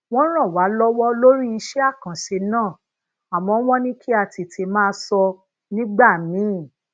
wón ràn wá lówó lori ise akanse naa àmó wón ní kí a tètè maa sọ nígbà míì